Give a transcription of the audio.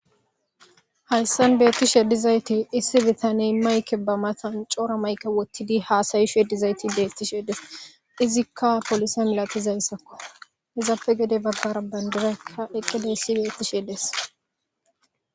hayssan beettishe edizayti issi bitaney mayke ba matan coora mayke wottidi haasayishueddizayti beettishedes izikka polisa milatizayssakko izappe gede baggara banderaykka eqqedeyssi beettisheedes